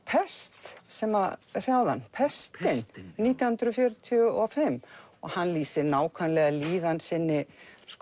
pest sem hrjáði hann pestin nítján hundruð fjörutíu og fimm og hann lýsir nákvæmlega líðan sinni